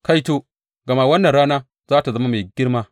Kaito, gama wannan rana za tă zama mai girma!